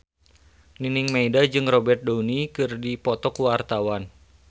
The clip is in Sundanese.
Nining Meida jeung Robert Downey keur dipoto ku wartawan